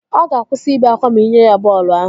Ọ ga-akwụsị ibe akwa ma ị nye ya bọọlụ ahụ